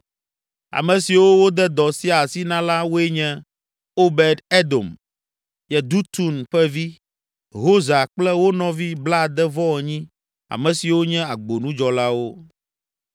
Ame siwo wode dɔ sia asi na la, woe nye: Obed Edom, Yedutun ƒe vi, Hosa kple wo nɔvi blaade-vɔ-enyi, ame siwo nye agbonudzɔlawo.